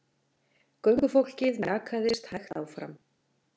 Göngufólkið mjakaðist hægt áfram.